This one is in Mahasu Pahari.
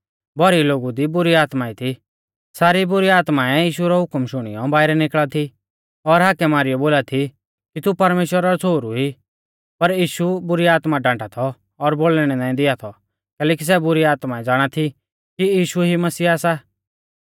भौरी लोगु दी बुरी आत्माऐं थी सारी बुरी आत्माऐं यीशु रौ हुकम शुणियौ बाइरै निकल़ा थी और हाकै मारीयौ बोला थी कि तू परमेश्‍वरा रौ छ़ोहरु ई पर यीशु बुरी आत्मा डांटा थौ और बोलणै नाईं दिआ थौ कैलैकि सै बुरी आत्माऐं ज़ाणा थी कि यीशु ई मसीहा सा